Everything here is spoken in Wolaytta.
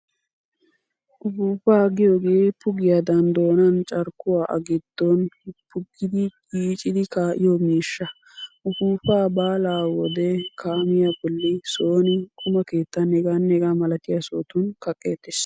Ufuufaa giyogee pugiyaadan doonan carkkuwaa a giddon puggidi yiicidi kaa'iyo miishsha. Ufuufaa baalaa wode kaamiyaa bolli, sooni, quma keettan , h.h.m sohotun kaqqeettees.